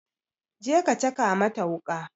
Je ka caka mata wuƙa!